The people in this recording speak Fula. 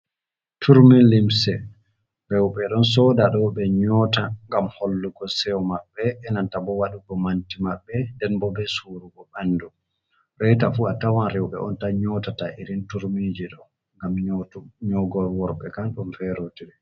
Turmi limse, rewɓe ɗon soda ɗoo ɓe nyota gam hallugo sew maɓɓe enanta bo waɗugo manti maɓɓe, den bo be surugo ɓandu, reyta fu a tawan rewɓe on tan nyotata irin turmiji ɗo, gam nyogor worɓe kan ɗon fe rotiri.